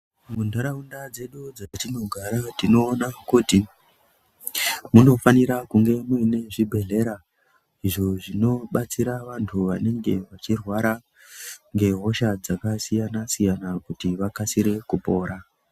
Muntaraunda dzedu dzetinogara tinoona kuti munofanira kunge muine zvibhehlera izvo zvinobatsira vantu vanenge vachirwara ngehosha dzakasiyana-siyana kuti vakasire kupora.